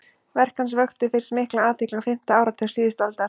verk hans vöktu fyrst mikla athygli á fimmta áratug síðustu aldar